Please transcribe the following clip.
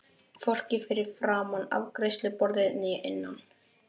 Hvorki fyrir framan afgreiðsluborðið né innan.